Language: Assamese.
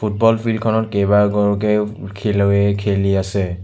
ফুটবল ফিল্ডখনত কেইবাগৰকেও খেলুৱৈয়ে খেলি আছে।